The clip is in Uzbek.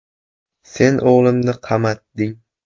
‘Sen o‘g‘limni qamatding.